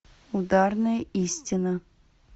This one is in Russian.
ударная истина